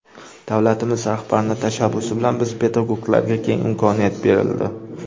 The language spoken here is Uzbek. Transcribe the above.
Davlatimiz rahbarining tashabbusi bilan biz pedagoglarga keng imkoniyat berildi.